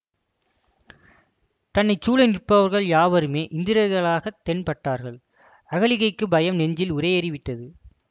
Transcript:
தன்னை சூழ நிற்பவர்கள் யாவருமே இந்திரர்களாகத் தென்பட்டார்கள் அகலிகைக்குப் பயம் நெஞ்சில் உறையேறிவிட்டது